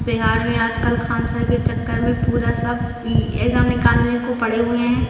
बिहार में आजकल खान सर के चक्कर में पूरा सब इ एग्जाम निकालने को पड़े हुए हैं।